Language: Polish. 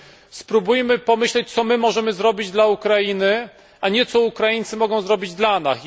byśmy spróbowali pomyśleć, co my możemy zrobić dla Ukrainy, a nie co Ukraińcy mogą zrobić dla nas.